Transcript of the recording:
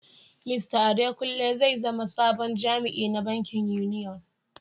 Mista Adekunle zai zama sabon jami'in na bankin Union.